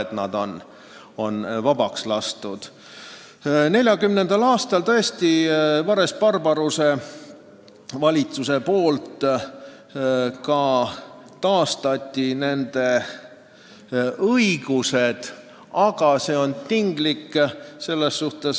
1940. aastal tõesti Vares-Barbaruse valitsus taastas nende õigused, aga see on tinglik.